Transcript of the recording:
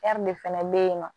de fɛnɛ be yen nɔ